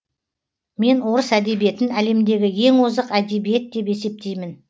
мен орыс әдебиетін әлемдегі ең озық әдебиет деп есептеймін